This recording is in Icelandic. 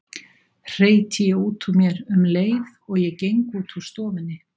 hreyti ég út úr mér um leið og ég geng út úr stofunni.